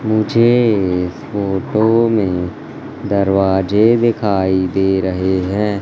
मुझे इस फोटो में दरवाजे दिखाई दे रहे हैं।